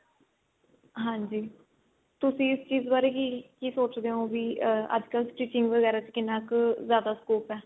ਹਾਂਜੀ ਤੁਸੀਂ ਇਸ ਚੀਜ ਬਾਰੇ ਕੀ ਕੀ ਸੋਚਦੇ ਓ ਵੀ ਅੱਜਕਲ stitching ਵਗੈਰਾ ਵਿੱਚ ਕਿੰਨਾ ਕ ਜਿਆਦਾ scope ਏ